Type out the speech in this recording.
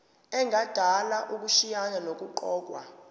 engadala ukushayisana nokuqokwa